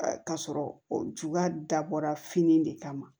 K'a sɔrɔ o juguya dabɔra fini de kama